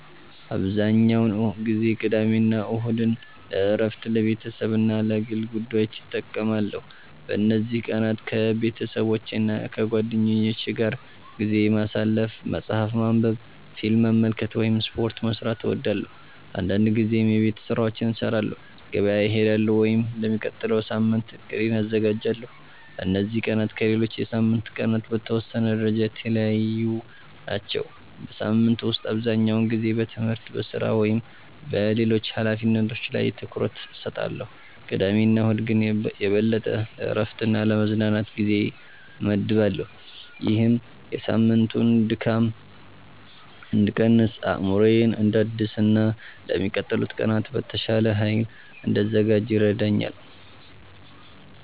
**"አብዛኛውን ጊዜ ቅዳሜና እሁድን ለእረፍት፣ ለቤተሰብ እና ለግል ጉዳዮች እጠቀማለሁ። በእነዚህ ቀናት ከቤተሰቦቼና ከጓደኞቼ ጋር ጊዜ ማሳለፍ፣ መጽሐፍ ማንበብ፣ ፊልም መመልከት ወይም ስፖርት መስራት እወዳለሁ። አንዳንድ ጊዜም የቤት ስራዎችን እሰራለሁ፣ ገበያ እሄዳለሁ ወይም ለሚቀጥለው ሳምንት እቅዴን አዘጋጃለሁ። እነዚህ ቀናት ከሌሎች የሳምንቱ ቀናት በተወሰነ ደረጃ የተለዩ ናቸው። በሳምንቱ ውስጥ አብዛኛውን ጊዜ በትምህርት፣ በሥራ ወይም በሌሎች ኃላፊነቶች ላይ ትኩረት እሰጣለሁ፣ ቅዳሜና እሁድ ግን የበለጠ ለእረፍትና ለመዝናናት ጊዜ እመድባለሁ። ይህም የሳምንቱን ድካም እንድቀንስ፣ አእምሮዬን እንዳድስ እና ለሚቀጥሉት ቀናት በተሻለ ኃይል እንድዘጋጅ ይረዳኛል።"